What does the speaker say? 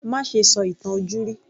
Má ṣe sọ ìtàn ojúrí